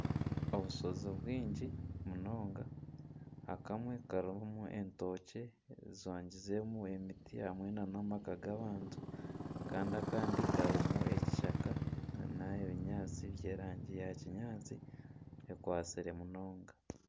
Obushozi bwingi munonga akamwe karimu etookye zijwagizemu emiti hamwe n'amaka g'abantu kandi akandi karimu ekishaka n'ebinyaatsi by'erangi ya kinyaatsi ekwatsire munonga.